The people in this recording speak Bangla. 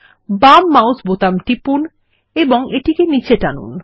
বাম মাউসের বোতাম টিপুন এবং এটিকে নীচে টানুন